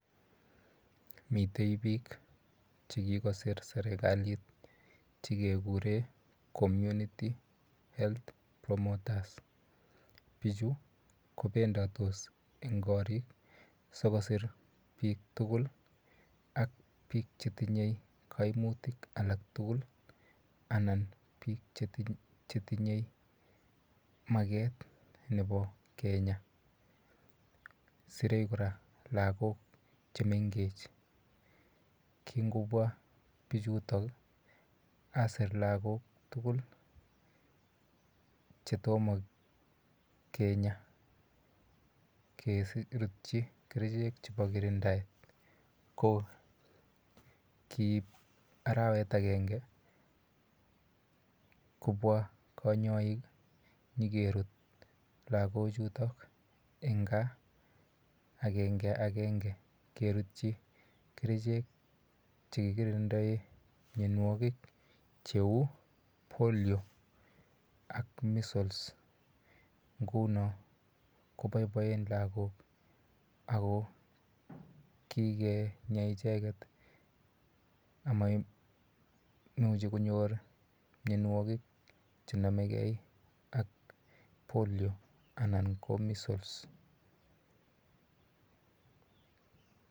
Mitei piik che kikosir serikalit che kekure Community Health Promoters. Pichu kopendatos eng' karik si kopit kosir piik tugul ak piik che tinye kaimutik alak tugul anan piik che tinye maket nepo kinyaa. Sirei kora lagok che mengech. Kingopwa pichutok asirk lagok tugul che toma kinya, kertchi kerichek chepo kirindaet. Ko kiip arawet agenge kopwa kanyailk nyi kerut lagochutok eng' gaa agenge agenge kerutchi kerichek che kikirindae mianwagik che u Polio ak Measles. Nguno ko paipaen lagok ako kikenyw cheget amaimuchi konyor mianwogik che name gei ak Polio anan ko Measles.